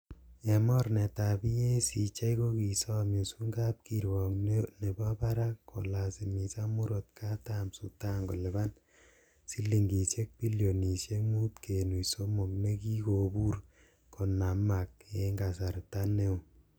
En mornetab EACJ, Kokisom Yusung kapkirwok nebo barak kolasimisan murot katam Sudan kolipan silingisiek bilionisiek mut kenuch somok, nekikobur konamab en kasarta neo